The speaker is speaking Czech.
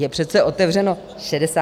Je přece otevřeno 63 zákonů.